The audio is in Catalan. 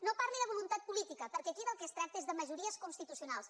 no parli de voluntat política perquè aquí del que es tracta és de majories constitucionals